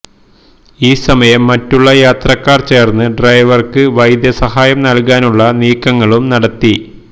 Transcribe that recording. ഈ സമയം മറ്റുള്ള യാത്രക്കാര് ചേര്ന്ന് ഡ്രൈവര്ക്ക് വൈദ്യസഹായം നല്കാനുള്ള നീക്കങ്ങളും നടത്തി